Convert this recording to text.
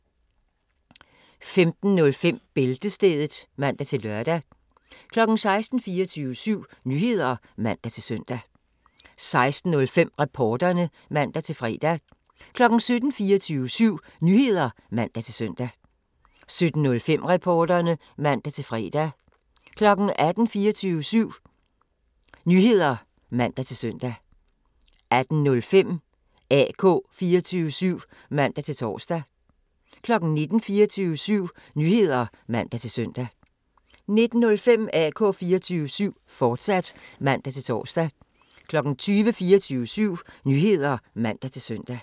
15:05: Bæltestedet (man-lør) 16:00: 24syv Nyheder (man-søn) 16:05: Reporterne (man-fre) 17:00: 24syv Nyheder (man-søn) 17:05: Reporterne (man-fre) 18:00: 24syv Nyheder (man-søn) 18:05: AK 24syv (man-tor) 19:00: 24syv Nyheder (man-søn) 19:05: AK 24syv, fortsat (man-tor) 20:00: 24syv Nyheder (man-søn)